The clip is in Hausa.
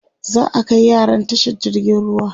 za'a Kai yaran tashar jirgin ruwa